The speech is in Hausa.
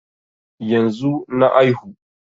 Yanzu na aihu